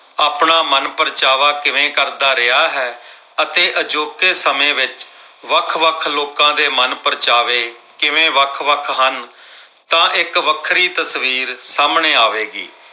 ਤੋਂ ਆਪਣਾ ਮਨਪ੍ਰਚਾਵਾ ਕਿਵੇਂ ਕਰਦਾ ਰਿਹਾ ਹੈ ਅਤੇ ਅਜੋਕੇ ਸਮੇਂ ਵਿੱਚ ਵੱਖ-ਵੱਖ ਲੋਕਾਂ ਦੇ ਮਨਪ੍ਰਚਾਵੇ ਕਿਵੇਂ ਵੱਖ-ਵੱਖ ਹਨ। ਤਾਂ ਇੱਕ ਵੱਖਰੀ ਤਸਵੀਰ ਸਾਹਮਣੇ ਆਵੇਗੀ।